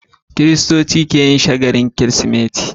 Kiristoci keyin shagalin kirismeti